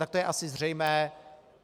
- Tak to je asi zřejmé.